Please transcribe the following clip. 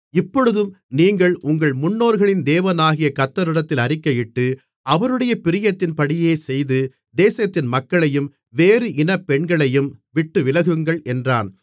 இப்பொழுதும் நீங்கள் உங்கள் முன்னோர்களின் தேவனாகிய கர்த்தரிடத்தில் அறிக்கையிட்டு அவருடைய பிரியத்தின்படியே செய்து தேசத்தின் மக்களையும் வேறு இனப் பெண்களையும் விட்டுவிலகுங்கள் என்றான்